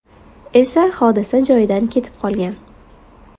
esa hodisa joyidan ketib qolgan.